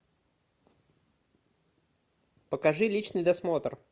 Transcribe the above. покажи личный досмотр